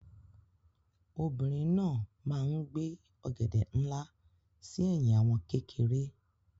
Obìnrin náà máa ń gbé ọ̀gẹ̀dẹ̀ nlá sí ẹ̀yìn àwọn kékeré.